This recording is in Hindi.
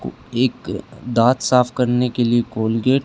को एक अ दांत साफ करने के लिए कोलगेट --